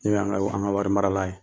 N'o ye an ka an ka wari marala ye